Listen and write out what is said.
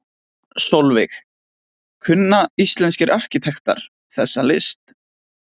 Sólveig: Kunna íslenskir arkitektar þessa list?